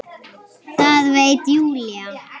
Það veit Júlía.